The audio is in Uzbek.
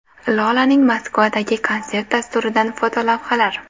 Lolaning Moskvadagi konsert dasturidan fotolavhalar.